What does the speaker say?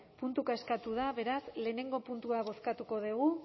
puntuka eskatu da beraz batgarrena puntua bozkatuko dugu